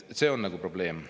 See on nagu probleem.